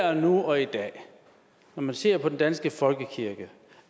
og nu og i dag når man ser på den danske folkekirke